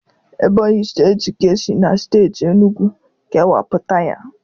Ebonyi steeti ka e si na steeti enugu kewapụta ya.